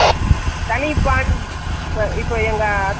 straight pant , palazzo lite palazzo மாதிரி இருக்குது cigarette .